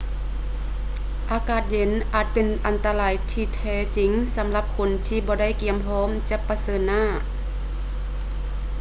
ອາກາດເຢັນ ອາດເປັນອັນຕະລາຍທີ່ແທ້ຈິງສຳລັບຄົນທີ່ບໍ່ໄດ້ກຽມພ້ອມຈະປະເຊີນໜ້າ